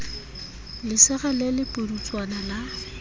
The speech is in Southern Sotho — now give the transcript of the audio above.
lesira le le pudutswana la